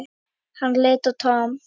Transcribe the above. Hann leit á Tom.